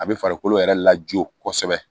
A bɛ farikolo yɛrɛ lajɔ kosɛbɛ